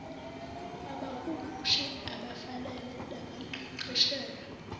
kwabahumushi abafanele nabaqeqeshelwe